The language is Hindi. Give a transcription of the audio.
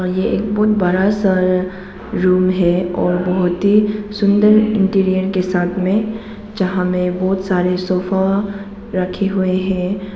और ये बहुत बड़ा सा रूम है और बहुत ही सुंदर इंटीरियर के साथ में जहां में बहुत सारे सोफा रखे हुए है।